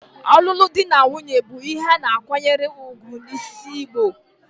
Olulu di na nwunye bu ihe ana akwanyere ugwu n'sls Igbo.